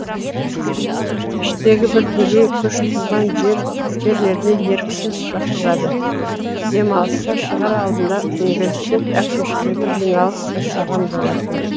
іштегі бір дүлей күш туған жерлеріне еріксіз шақырады демалысқа шығар алдында университет әкімшілгі жиналыс жасаған болатын